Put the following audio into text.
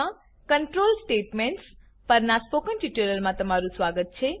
મા control statements પર ના સ્પોકન ટ્યુટોરીયલમા તમારુ સ્વાગત છે